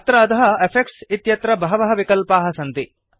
अत्र अधः इफेक्ट्स् इत्यत्र बहवः विकल्पाः सन्ति